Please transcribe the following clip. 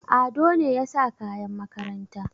Ado ne ya sa kayan makaranta.